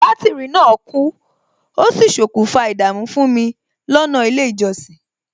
Bátìrì náà kú, ó sì ṣokùnfà ìdààmú fún mi lọ́nà ilé ìjọsìn